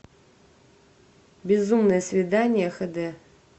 безумное свидание хэ дэ